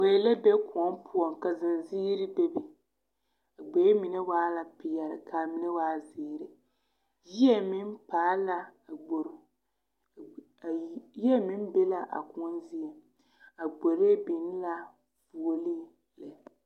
Gboe la be kõɔ poɔŋ ka zenziiri bebe a ɡboe mine waa la peɛle ka a mine waa ziiri yie meŋ paal la a ɡbor yie meŋ be la a kõɔ zie a ɡbori biŋ la fuoleŋ lɛ.